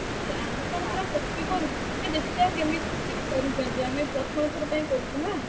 ଆରେ ଆମେ କଣ ପୁରା copy କରୁଚୁ ଟିକେ ଦେଖିଆ କେମିତି ସେ କରିଛନ୍ତି ଆମେ ଆମେ ପ୍ରଥମ ଥର ପାଇଁ କରୁଛୁ ନା।